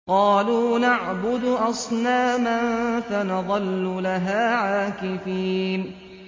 قَالُوا نَعْبُدُ أَصْنَامًا فَنَظَلُّ لَهَا عَاكِفِينَ